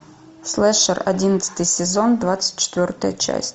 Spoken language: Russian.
слэшер одиннадцатый сезон двадцать четвертая часть